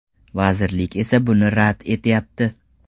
Vazirlik esa buni rad etyapti.